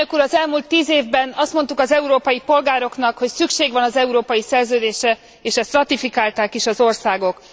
Az elmúlt tíz évben azt mondtuk az európai polgároknak, hogy szükség van az európai szerződésre, és ezt ratifikálták is az országok.